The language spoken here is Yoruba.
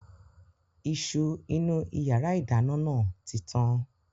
Iṣu inú ìyàrá-ìdáná náà tí tán.